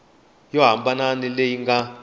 yo hambana na leyi nga